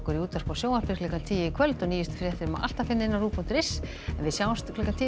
í útvarpi og sjónvarpi klukkan tíu í kvöld og nýjustu fréttir má alltaf finna á rúv punktur is en við sjáumst klukkan tíu